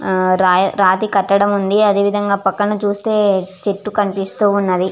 హా రతి కటడము ఉనాది చుట్టు పక్కన చుస్తే చెట్టూ కనిపెస్తునది.